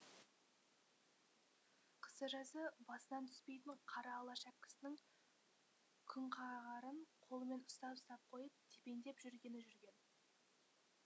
қысы жазы басынан түспейтін қара ала шәпкісінің күнқағарын қолымен ұстап ұстап қойып тепеңдеп жүргені жүрген